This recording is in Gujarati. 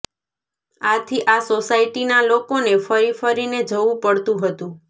આથી આ સોસાયટીના લોકોને ફરી ફરીને જવું પડતું હતું